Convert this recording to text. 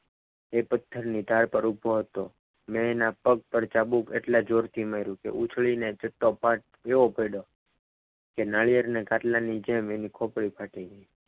એ પથ્થરની ધાર ઉપર ઉભો હતો. મેં એના પગ ઉપર ચાબુક એટલા જોરથી માર્યું કે ઉછળીને ચત્તો part એવો પડ્યો કે નારિયેળના ખાટલાની જેમ એની પકડી ફાટી ગઈ.